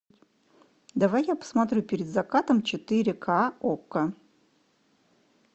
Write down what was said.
давай я посмотрю перед закатом четыре ка окко